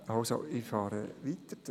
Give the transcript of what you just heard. Ich fahre weiter.